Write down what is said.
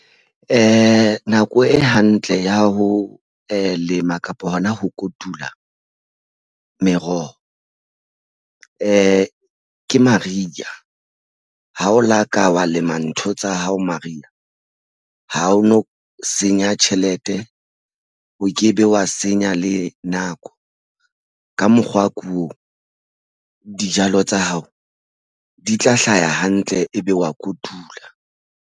Nako e hantle ya ho lema kapa hona ho kotula meroho ke mariha ha o laka wa lema ntho tsa hao mariha ha o no senya tjhelete o ke be wa senya le nako. Ka mokgwa ko dijalo tsa hao di tla hlaha hantle ebe wa kotula.